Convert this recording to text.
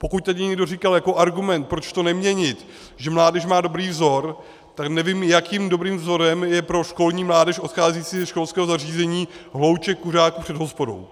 Pokud tedy někdo říkal jako argument, proč to neměnit, že mládež má dobrý vzor, tak nevím, jakým dobrým vzorem je pro školní mládež odcházející ze školského zařízení hlouček kuřáků před hospodou.